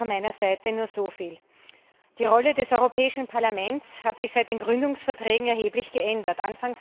Daher von meiner Seite nur so viel Die Rolle des Europäischen Parlaments hat sich seit den Gründungsverträgen erheblich geändert.